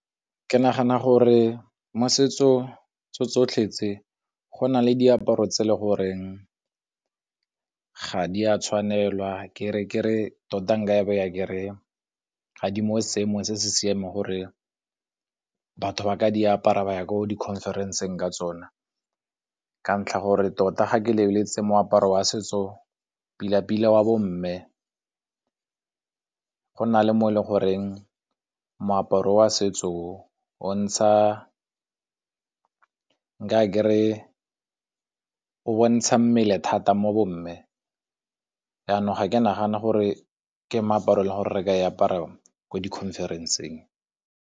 Ke nagana gore mo setso tso tsotlhe tse go na le diaparo tse e le goreng ga di a tshwanelwa. Ke re tota nka e beya ke re ga di mo seemong se se siameng gore batho ba ka di apara ba ya ko di-conference-eng ka tsona, ka ntlha gore tota ga ke lebeletse moaparo wa setso pila-pila wa bomme go na le mo e le goreng moaparo wa setso o, nka ke re o bontsha mmele thata mo bomme jaanong ga ke nagane gore ka moaparo o e le goreng re ka o apara ko di-conference-eng.